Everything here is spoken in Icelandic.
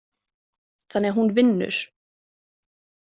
Þannig að hún vinnur?